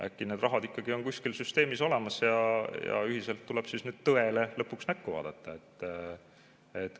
Äkki see raha ikkagi on kuskil süsteemis olemas ja ühiselt tuleks siis nüüd tõele lõpuks näkku vaadata.